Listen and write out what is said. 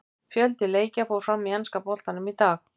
Fjöldi leikja fór fram í enska bikarnum í dag.